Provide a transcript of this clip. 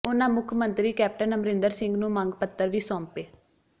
ਉਨ੍ਹਾਂ ਮੁੱਖ ਮੰਤਰੀ ਕੈਪਟਨ ਅਮਰਿੰਦਰ ਸਿੰਘ ਨੂੰ ਮੰਗ ਪੱਤਰ ਵੀ ਸੌਂਪੇ